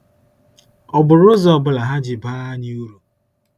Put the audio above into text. Ọ bụrụ ụzọ ọ bụla ha ji baa anyị uru?